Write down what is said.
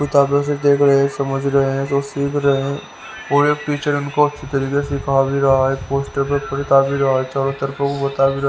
किताबों से देख रहे हैं समझ रहे हैं तो सीख रहे हैं और एक टीचर इनको अच्छी तरीके से सिखा भी रहा है पोस्टर पड़ता भी रहा है चारों तरफ वो बता भी--